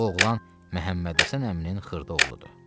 Bu oğlan Məhəmmədhəsən əminin xırda oğludur.